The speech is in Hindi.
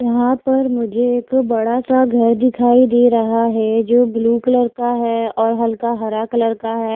यहां पर मुझे एक बड़ा सा घर दिखाई दे रहा है जो ब्ल्यू कलर का है और हल्का हरा कलर का है।